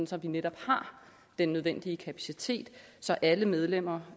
så vi netop har den nødvendige kapacitet så alle medlemmer